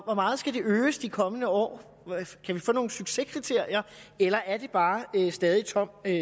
hvor meget skal det øges i de kommende år kan vi få nogle succeskriterier eller er det bare stadig tom